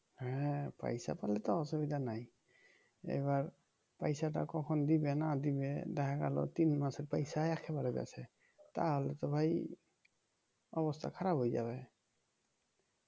হ্যাঁ পয়সা পেলে তো অসুবিধা নাই এবার পয়সাটা কখন দিবে না দিবে দেখা গেল তিন মাসের পয়সা একেবারে দিছে তাহলে তো ভাই অবস্থা খারাপ হয়ে যাবে